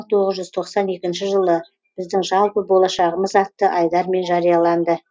мың тоғыз жүз тоқсан екінші жылы біздің жалпы болашағымыз атты айдармен жарияланды